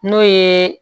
N'o ye